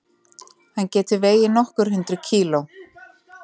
Hann getur vegið nokkur hundruð kíló.